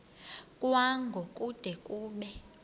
kwango kude kube